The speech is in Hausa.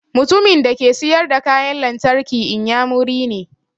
Mutumin dake siƴar da kaƴan lantarki inƴamuri ne.